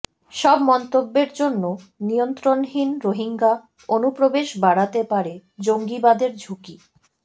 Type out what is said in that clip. সব মন্তব্যের জন্য নিয়ন্ত্রণহীন রোহিঙ্গা অনুপ্রবেশ বাড়াতে পারে জঙ্গিবাদের ঝুঁকি